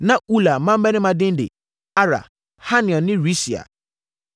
Na Ula mmammarima din de: Arah, Haniel ne Risia.